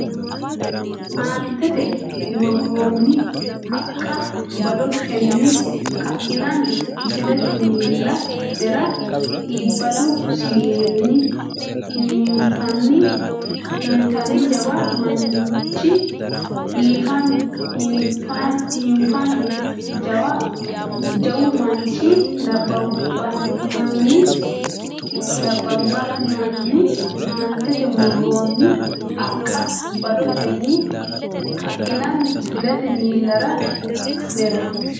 Aantete murroonni haqqa badotenni ka inanni kifilete miilla nera iibbadu siwiilinni hiinfanni jawu manchi nabbabbinanni Aantete murroonni haqqa badotenni ka inanni kifilete miilla nera.